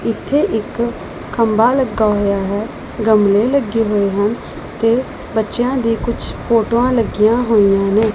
ਇੱਥੇ ਇੱਕ ਖੰਭਾ ਲੱਗਾ ਹੋਇਆ ਹੈ ਗਮਲੇ ਲੱਗੇ ਹੋਏ ਹਨ ਤੇ ਬੱਚਿਆਂ ਦੀ ਕੁਝ ਫੋਟੋਆਂ ਲੱਗੀਆਂ ਹੋਈਆਂ ਨੇ।